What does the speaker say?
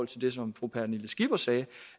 til det som fru pernille skipper sagde